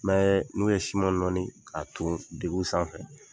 N bɛɛ n'u ye siman nɔɔni ka ton degu sanfɛ.